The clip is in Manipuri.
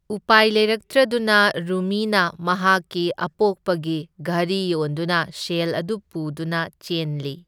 ꯎꯄꯥꯏ ꯂꯩꯔꯛꯇ꯭ꯔꯗꯨꯅ, ꯔꯨꯃꯤꯅ ꯃꯍꯥꯛꯀꯤ ꯑꯄꯣꯛꯄꯒꯤ ꯘꯔꯤ ꯌꯣꯟꯗꯨꯅ ꯁꯦꯜ ꯑꯗꯨ ꯄꯨꯗꯨꯅ ꯆꯦꯟꯂꯤ꯫